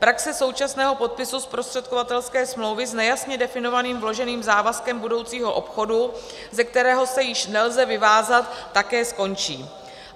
Praxe současného podpisu zprostředkovatelské smlouvy s nejasně definovaným vloženým závazkem budoucího obchodu, ze kterého se již nelze vyvázat, také skončí.